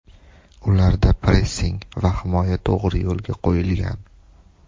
Ularda pressing va himoya to‘g‘ri yo‘lga qo‘yilgan.